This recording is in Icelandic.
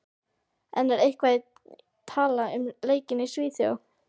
En er eitthvað talað um leikinn í Svíþjóð?